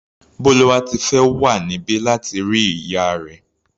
Bólúwátifẹ́ wà níbí láti rí ìyá rẹ̀.